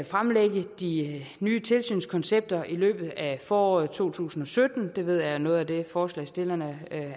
fremlægge de nye tilsynskoncepter i løbet af foråret to tusind og sytten det ved jeg er noget af det forslagsstillerne